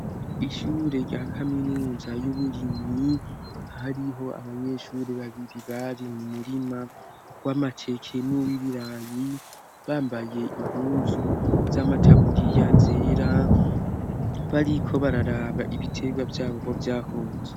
Ishure rya kaminuza y'uburimyi hariho abanyeshuri babiri bari mu murima w'amacekee n'uwibirayi bambaye impuzu z'amataburiya zera bariko bararaba ibiterwa vyabo ko vyakunze.